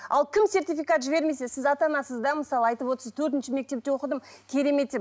ал кім сертификат жібермесе сіз ата анасыз да мысалы айтып отырсыз төртінші мектепте оқыдым керемет деп